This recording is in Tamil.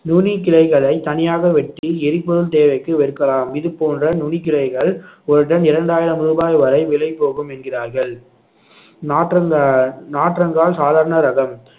நுனிக்கிளைகளை தனியாக வெட்டி எரிபொருள் தேவைக்கு விற்கலாம் இது போன்ற நுனிக் கிளைகள் ஒரு டன் இரண்டாயிரம் ரூபாய் வரை விலை போகும் என்கிறார்கள் நாற்றங்கால் நாற்றங்கால் சாதாரண ரகம்